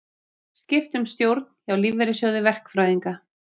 Skipt um stjórn hjá Lífeyrissjóði verkfræðinga